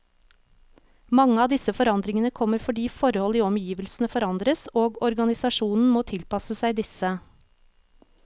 Mange av disse forandringene kommer fordi forhold i omgivelsene forandres, og organisasjonen må tilpasse seg disse.